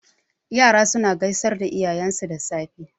Yara suna gaisar da iyayensu da safe.